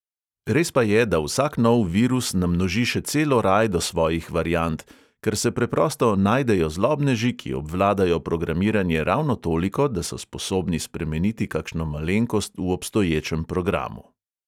Res pa je, da vsak nov virus namnoži še celo rajdo svojih variant, ker se preprosto najdejo zlobneži, ki obvladajo programiranje ravno toliko, da so sposobni spremeniti kakšno malenkost v obstoječem programu.